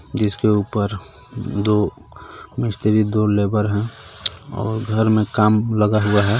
जिसके ऊपर दो मिस्त्री दो लेबर है और घर में काम लगा हुआ है.